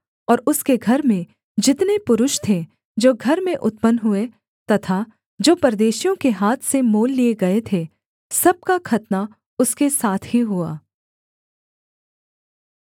और उसके घर में जितने पुरुष थे जो घर में उत्पन्न हुए तथा जो परदेशियों के हाथ से मोल लिये गए थे सब का खतना उसके साथ ही हुआ